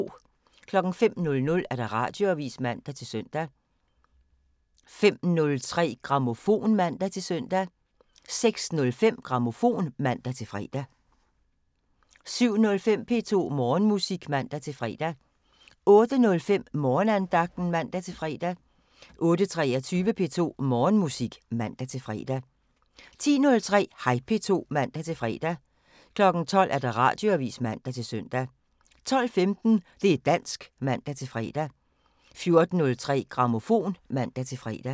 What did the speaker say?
05:00: Radioavisen (man-søn) 05:03: Grammofon (man-søn) 06:05: Grammofon (man-fre) 07:05: P2 Morgenmusik (man-fre) 08:05: Morgenandagten (man-fre) 08:23: P2 Morgenmusik (man-fre) 10:03: Hej P2 (man-fre) 12:00: Radioavisen (man-søn) 12:15: Det' dansk (man-fre) 14:03: Grammofon (man-fre)